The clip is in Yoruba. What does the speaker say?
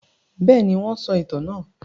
Bẹ́ẹ̀ni, wọ́n sọ ìtàn náà.